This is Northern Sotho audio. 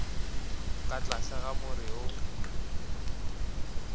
ka tlase ga more wo